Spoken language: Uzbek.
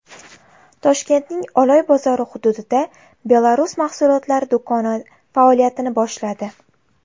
Toshkentning Oloy bozori hududida Belarus mahsulotlari do‘koni faoliyatini boshladi.